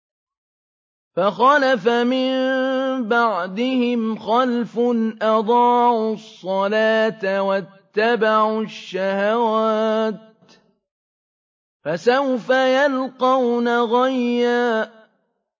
۞ فَخَلَفَ مِن بَعْدِهِمْ خَلْفٌ أَضَاعُوا الصَّلَاةَ وَاتَّبَعُوا الشَّهَوَاتِ ۖ فَسَوْفَ يَلْقَوْنَ غَيًّا